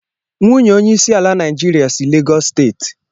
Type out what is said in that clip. Nwunye onyeisiala Naijiria si Legọs steeti